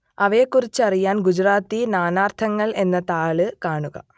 അവയെക്കുറിച്ചറിയാൻ ഗുജറാത്തി നാനാർത്ഥങ്ങൾ എന്ന താൾ കാണുക